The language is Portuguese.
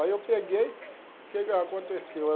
Aí eu peguei, o que que aconteceu?